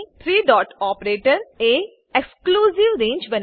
three dot operator એ exclusive રંગે